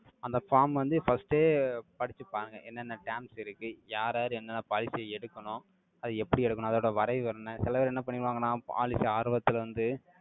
அந்த form வந்து, first ஏ படிச்சுப்பாருங்க என்னென்ன terms இருக்கு, யார், யார் என்னென்ன policy எடுக்கணும், அது எப்படி எடுக்கணும், அதோட வரைவு என்ன? சில பேர் என்ன பண்ணிடுவாங்கன்னா, policy ஆர்வத்துல வந்து,